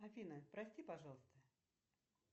афина прости пожалуйста